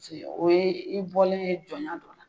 Paseke o ye i bɔlen ye jɔn ya la